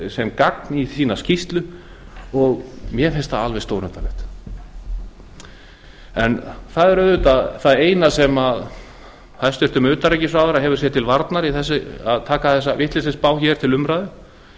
sem gagn í skýrslu sína mér finnst það alveg stórundarlegt það eina sem hæstvirtur utanríkisráðherra hefur sér til varnar í því að taka þessa vitleysisspá hér til umræðu